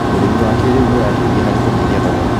ũrĩmi wa kĩrĩu nĩũrateithia harĩ kũnyihia thogora.